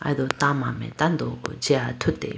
aye do tama mai tando jiya athutiba.